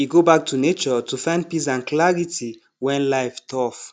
e go back to nature to find peace and clarity when life tough